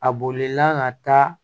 A bolila ka taa